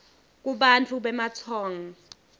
kubantfu bematsong